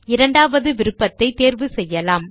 இரண்டாவது விருப்பத்தை தேர்வு செய்யலாம்